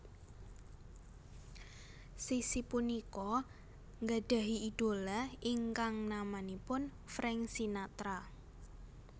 Sissy punika nggadhahi idhola ingkang namanipun Frank Sinatra